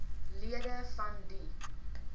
lede van die